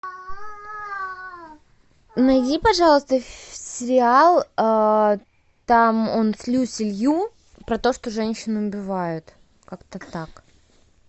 найди пожалуйста сериал там он с люси лью про то что женщин убивают как то так